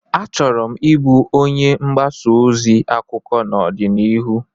Achọrọ m ịbụ onye mgbasa ozi akụkọ n'ọdịnihu